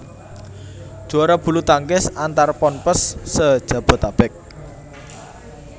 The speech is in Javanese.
Juara bulutangkis antar Ponpes se Jabotabek